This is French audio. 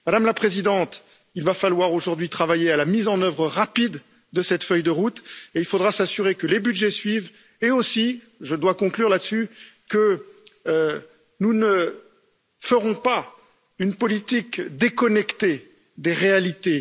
Madame la Présidente, il va falloir aujourd'hui travailler à la mise en œuvre rapide de cette feuille de route et il faudra s'assurer que les budgets suivent et, je dois conclure là dessus, que nous ne ferons pas une politique déconnectée des réalités.